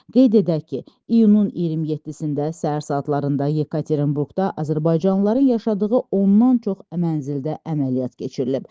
Qeyd edək ki, iyunun 27-də səhər saatlarında Yekaterinburqda azərbaycanlıların yaşadığı ondan çox mənzildə əməliyyat keçirilib.